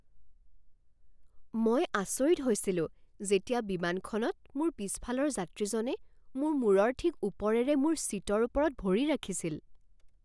মই আচৰিত হৈছিলো যেতিয়া বিমানখনত মোৰ পিছফালৰ যাত্ৰীজনে মোৰ মূৰৰ ঠিক ওপৰেৰে মোৰ ছিটৰ ওপৰত ভৰি ৰাখিছিল!